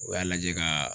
U y'a lajɛ ka